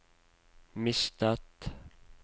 mistet